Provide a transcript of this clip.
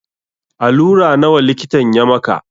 Alura nawa likitan ya maka?